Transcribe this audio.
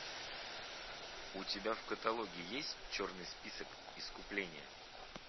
у тебя в каталоге есть черный список искупление